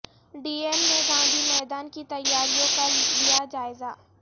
D ایم نے گاندھی میدان کی تیاریوں کا لیا جائزہ